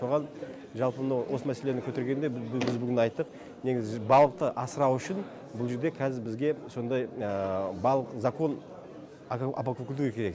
соған жалпы мынау осы мәселені көтергенде біз бүгін айттық негізі балықты асырау үшін бұл жерде кәзір бізге сондай балық закон керек